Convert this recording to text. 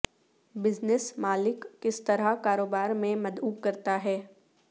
business مالک کس طرح کاروبار میں مدعو کرتا ہے